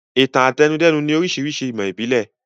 Ìtàn-àtẹnudẹ́nu ni oríṣiríṣi ìmọ̀ ìbílẹ̀.